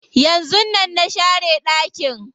Yanzun nan na share ɗakin.